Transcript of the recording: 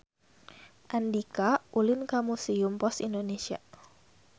Andika ulin ka Museum Pos Indonesia